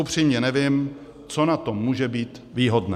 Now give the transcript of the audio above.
Upřímně nevím, co na tom může být výhodné.